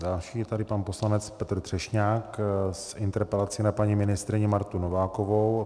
Další je tady pan poslanec Petr Třešňák s interpelací na paní ministryni Martu Novákovou.